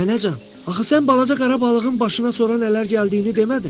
Nənəcan, axı sən balaca qara balığın başına sonra nələr gəldiyini demədin?